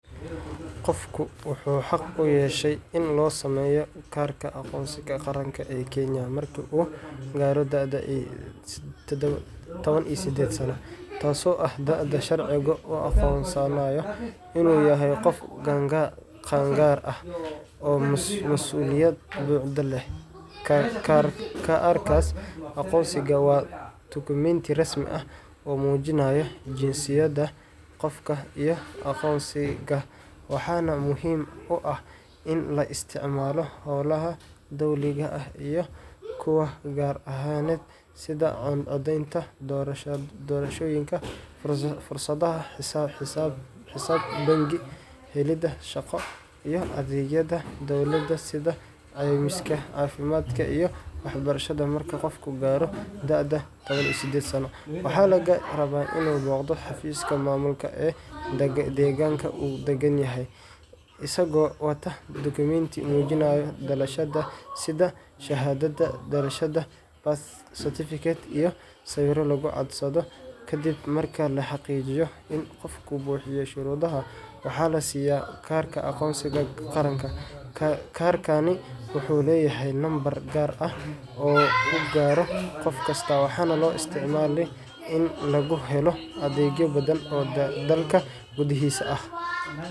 Qofku wuxuu xaq u yeeshaa in loo sameeyo kaarka aqoonsiga qaranka ee Kenya marka uu gaaro da’da sided iyo toban sano, taasoo ah da’da sharcigu u aqoonsanayo inuu yahay qof qaangaar ah oo masuuliyad buuxda leh. Kaarka aqoonsiga waa dukumenti rasmi ah oo muujinaya jinsiyadda qofka iyo aqoonsigiisa, waxaana muhiim u ah in la isticmaalo howlaha dowliga ah iyo kuwa gaar ahaaneed sida codeynta doorashooyinka, furashada xisaab bangi, helidda shaqo, iyo adeegyada dowladda sida caymiska caafimaadka iyo waxbarashada. Marka qofku gaaro da’da sided iyo toban sano, waxaa laga rabaa inuu booqdo xafiiska maamulka ee deegaanka uu degan yahay, isagoo wata dukumenti muujinaya dhalashadiisa sida shahaadada dhalashada birth certificate, iyo sawirro lagu codsado. Kadib marka la xaqiijiyo in qofku buuxiyey shuruudaha, waxaa la siyaa kaarka aqoonsiga qaranka. Kaarkani wuxuu leeyahay nambar gaar ah oo u gaar ah qof kasta, waxaana loo isticmaalaa in lagu helo adeegyo badan oo dalka gudihiisa ah.